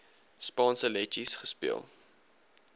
spanspe letjies gespeel